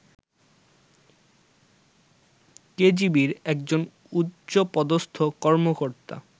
কেজিবির একজন উচ্চপদস্থ কর্মকর্তা